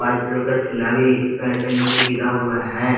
White colour का चुन्हा भी पेड़ के नीचे गिरा हुआ है।